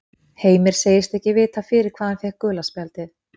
Heimir segist ekki vita fyrir hvað hann fékk gula spjaldið.